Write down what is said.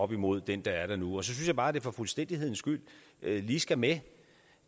op imod den der er der nu så synes jeg bare at det for fuldstændighedens skyld lige skal med